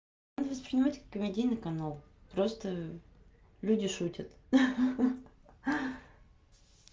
надо воспринимать как комедийный канал просто люди шутят ха ха